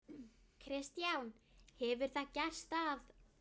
Kristján: Hefur það gerst að?